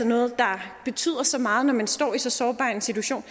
noget der betyder så meget når man står i så sårbar en situation